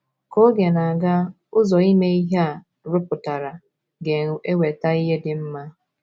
Ka oge na - aga, ụzọ ime ihe a rụpụtara ga-eweta ihe dị mma. ”